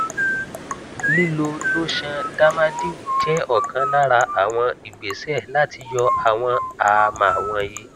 lílò lotion dermadew jẹ ọkan lára àwọn ìgbésẹ láti yọ àwọn àámá wọnyí